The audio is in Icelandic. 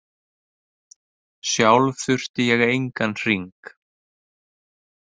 Sjálf þurfti ég engan hring.